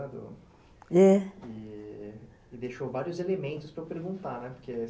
É, é, e deixou vários elementos para eu perguntar, né, porque...